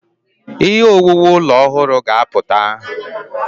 Ihe owuwu ụlọ ọhụrụ ga-apụta.